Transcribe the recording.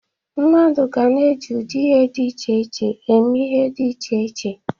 Mmadụ ga na-eji ụdị ihe dị iche iche eme ihe dị iche iche.